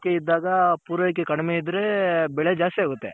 ಆ ಬೇಡಿಕೆ ಇದಾಗ ಪೂರೈಕೆ ಕಡಿಮೆ ಇದ್ರೆ ಬೆಳೆ ಜಾಸ್ತಿ ಆಗುತ್ತೆ.